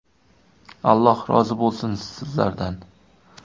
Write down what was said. Alloh rozi bo‘lsin sizlardan.